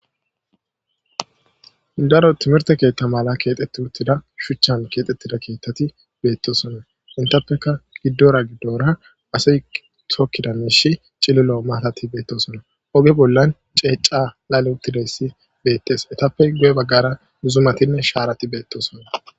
Daro timirte keetta mala keexxetti uttida shuchchan keexxettida keittati beettosona intappeka giddora giddora asi tokkida miishi cililo maatati beettosona oge bollan ceeca laleutilesi beettes etappe guye baggara duzumatinne shaarati beettosonna.